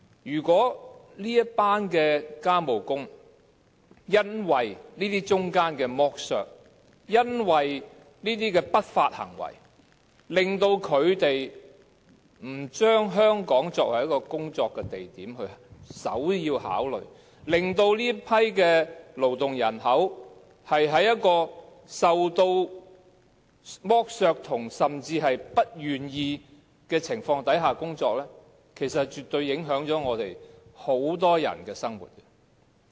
如果這群外傭因為剝削和不法行為，令到他們不把香港作為首要考慮的工作地點，令到這群勞動人口在一個受剝削甚至是不願意的情況之下工作，其實是絕對會影響我們很多人的生活。